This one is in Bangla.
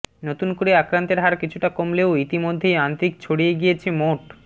নতুন করে আক্রান্তের হার কিছুটা কমলেও ইতিমধ্যেই আন্ত্রিক ছড়িয়ে গিয়েছে মোট